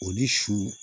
O ni su